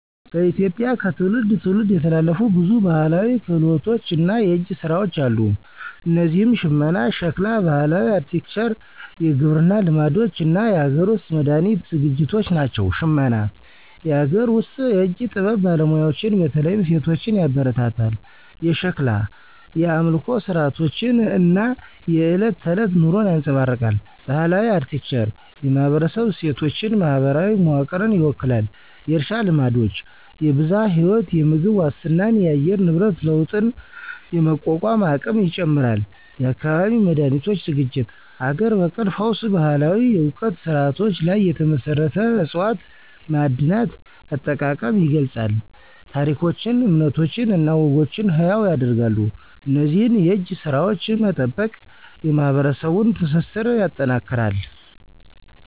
በኢትዮጵያ ከትውልድ ትውልድ የተላለፉ ብዙ ባህላዊ ክህሎቶች እና የእጅ ስራዎች አሉ። እነዚህም ሽመና፣ ሸክላ፣ ባህላዊ አርክቴክቸር፣ የግብርና ልማዶች እና የሀገር ውስጥ መድሃኒት ዝግጅቶች ናቸው። ሽመና - የአገር ውስጥ የእጅ ጥበብ ባለሙያዎችን በተለይም ሴቶችን ያበረታታል። የሸክላ - የአምልኮ ሥርዓቶችን እና የዕለት ተዕለት ኑሮን ያንፀባርቃል። ባህላዊ አርክቴክቸር - የማህበረሰብ እሴቶችን፣ ማህበራዊ መዋቅርን ይወክላል። የእርሻ ልማዶች -የብዝሃ ህይወት፣ የምግብ ዋስትናንና የአየር ንብረት ለውጥን የመቋቋም አቅም ይጨምራል። የአካባቢ መድሃኒቶች ዝግጅት -ሀገር በቀል ፈውስ ባህላዊ የእውቀት ስርዓቶች ላይ የተመሰረቱ ዕፅዋት፣ ማዕድናት አጠቃቀም ይገልፃል። ታሪኮችን፣ እምነቶችን እና ወጎችን ሕያው ያደርጋሉ። እነዚህን የእጅ ስራዎች መጠበቅ የማህበረሰቡን ትስስር ያጠናክራል።